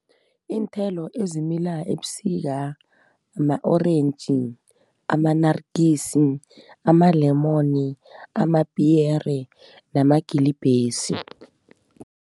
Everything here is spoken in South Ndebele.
Iinthelo ezimila ebusika ma-orentji, amanarikisi, ama-lemon, amapiyere namagilibhesi